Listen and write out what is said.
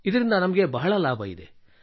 ಇದರಿಂದ ನಮಗೆ ಬಹಳ ಲಾಭವಿದೆ